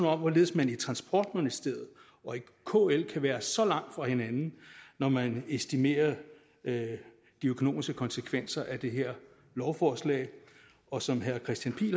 om hvorledes man i transportministeriet og kl kan være så langt fra hinanden når man estimerer de økonomiske konsekvenser af det her lovforslag og som herre kristian pihl